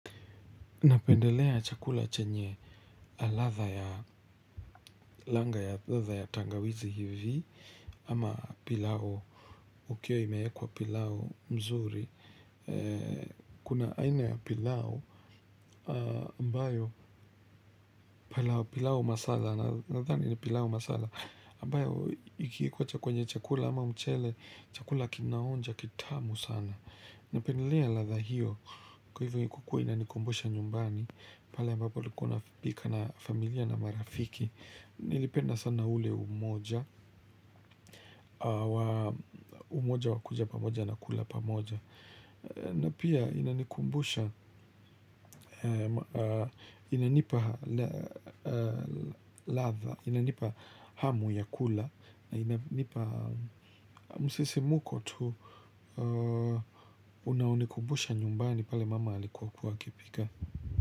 Napendelea chakula chenye aladha ya langa ya tangawizi hivi, ama pilau, ukiwa imeekwa pilau mzuri, kuna aina ya pilau, ambayo pilau masala, nathani ni pilau masala, ambayo ikiekwa kwenye chakula ama mchele, chakula kinaonja kitamu sana. Napendelea latha hiyo kwa hivyo ni kukua inanikumbusha nyumbani. Pale ambapo ulikuwa pika na familia na marafiki. Nilipenda sana ule umoja. Umoja wakuja pamoja na kula pamoja. Napia inanikumbusha inanipa latha. Inanipa hamu ya kula na inanipa msisimko tu unao nikubusha nyumbani pale mama alikokuwa kuwa akipika.